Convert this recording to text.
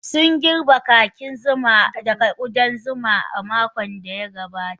Sun girbe kakin zuma daga ƙudan zuma a makon da ya gabata.